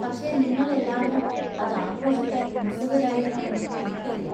പക്ഷേ, നിങ്ങൾ എല്ലാവരും അത് ആഘോഷിക്കാൻ ഉത്സുകരായിരിക്കും എന്നും എനിക്കറിയാം.